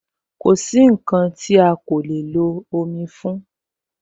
Kosi nkan ti a ko le lo omi fún